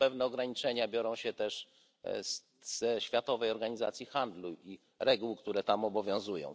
Tu pewne ograniczenia biorą się też ze Światowej Organizacji Handlu i reguł, które tam obowiązują.